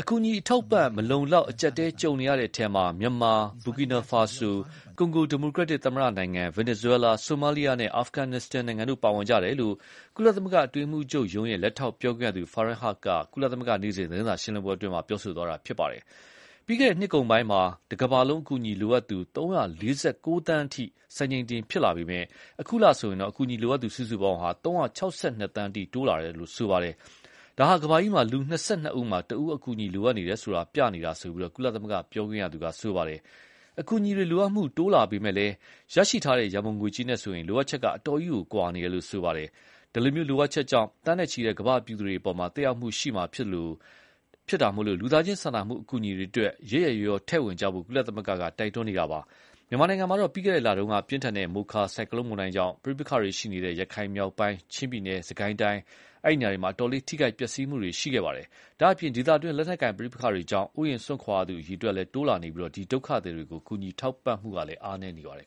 အကူအညီအထောက်အပံ့မလုံလောက်ပဲ အကြပ်အတည်းကြုံနေရတဲ့အထဲမှာ မြန်မာ၊ ဘူကီနို ဖာဆို၊ ကွန်ဂို ဒီမိုကရက်တစ်သမ္မတနိုင်ငံ၊ ဗင်နယ်ဇွဲလား၊ ဆိုမားလီယားနဲ့ အာဖဂနစ္စတန်တို့ ပါဝင်ကြတယ်လို့ ကုလသမဂ္ဂ အတွင်းရေးမှုးချုပ်ရုံး လက်ထောက်ပြောခွင့်ရသူ Faran Haq က ကုလနေ့စဉ်သတင်းစာရှင်းလင်းပွဲမှာ ပြောသွားတာပါ။ ပြီးခဲ့တဲ့နှစ်ကုန်းပိုင်းမှာ တကမ္ဘာလုံး အကူအညီလိုအပ်သူ ၃၄၉ သန်းအထိ စံချိန်တင်ဖြစ်လာပေမယ့်၊ အခုလဆိုရင် အကူအညီလိုအပ်သူ စုစုပေါင်း ၃၆၂ သန်းအထိ တိုးလာတယ်လို့ဆိုပါတယ်။ ဒါဟာ ကမ္ဘာကြီးမှာ လူ ၂၂ ဦးမှာ တဦးက အကူအညီလိုအပ်နေတယ်ဆိုတာ ပြနေတာလို့ ကုလ ပြောခွင့်ရသူက ဆိုပါတယ်။ အကူအညီလိုအပ်မှုတိုးလာပေမယ့်လည်း ရရှိထားတဲ့ ရံပုံငွေကြေးနဲ့ဆိုရင် လိုအပ်ချက်က အတော်ကြီး ကွာနေတယ်လို့ ပြောပါတယ်။ ဒီလို လိုအပ်ချက်ကြောင့် သန်းနဲ့ချီတဲ့ကမ္ဘာပြည်သူတွေအပေါ် သက်ရောက်မှုရှိမှာဖြစ်လို့ လူသားချင်းစာနာမှုအကူအညီတွေအတွက် ရက်ရက်ရောရော ထည့်ဝင်ကြဖို့ ကုလသမဂ္ဂက တိုက်တွန်းနေတာပါ။ မြန်မာနိုင်ငံမှာ ပြီးခဲ့တဲ့လတုန်းက ပြင်းထန်တဲ့ မိုချာဆိုက်ကလုံးမုန်တိုင်းကြောင့် ပဋိပက္ခတွေရှိနေတဲ့ ရခိုင်မြောက်ပိုင်း၊ ချင်းပြည်နယ်၊ စစ်ကိုင်းတိုင်းအတွင်း အတော်လေးထိခိုက်ပျက်စီးမှုတွေရှိခဲ့ပါတယ်။ ဒါ့အပြင် ဒေသတွင်း လက်နက်ကိုင်ပဋိပက္ခတွေကြောင့် အိုးအိမ်စွန့်ခွာရသူအရေအတွက်တိုးလာနေပြီး ဒီ ဒုက္ခသည်တွေကို ကူညီထောက်ပံ့မှုလည်း အားနည်းနေပါတယ်